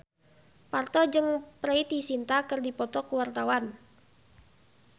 Parto jeung Preity Zinta keur dipoto ku wartawan